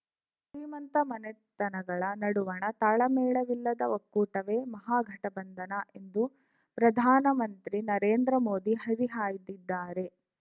ಶ್ರೀಮಂತ ಮನೆತನಗಳ ನಡುವಣ ತಾಳಮೇಳವಿಲ್ಲದ ಒಕ್ಕೂಟವೇ ಮಹಾಗಠಬಂಧನ ಎಂದು ಪ್ರಧಾನಮಂತ್ರಿ ನರೇಂದ್ರ ಮೋದಿ ಹರಿಹಾಯ್ದಿದ್ದಾರೆ